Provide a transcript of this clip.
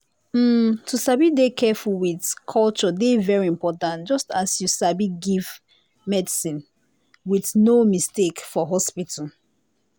hmm to sabi dey careful with culture dey very important just as you sabi give medicine with no mistake for hospital.